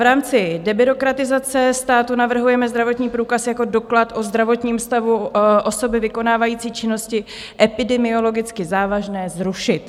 V rámci debyrokratizace státu navrhujeme zdravotní průkaz jako doklad o zdravotním stavu osoby vykonávající činnosti epidemiologicky závažné zrušit.